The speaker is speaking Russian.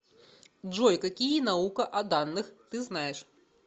джой какие наука о данных ты знаешь